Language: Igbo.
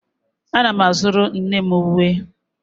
Ana m azụrụ nne m uwe